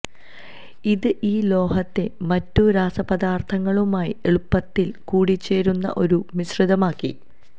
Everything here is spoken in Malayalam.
ഇത് ഈ ലോഹത്തെ മറ്റു രാസപദാര്ഥങ്ങളുമായി എളുപ്പത്തില് കൂടിച്ചേരുന്ന ഒരു മിശ്രിതമാക്കി